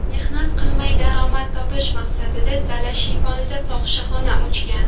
mehnat qilmay daromad topish maqsadida dala shiyponida fohishaxona ochgan.